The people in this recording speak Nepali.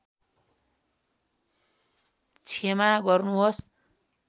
क्षमा गर्नुहोस्